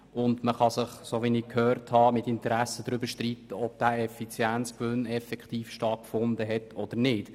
Wie ich gehört habe, kann man sich vermutlich darüber streiten, ob der Effizienzgewinn tatsächlich stattgefunden hat oder nicht.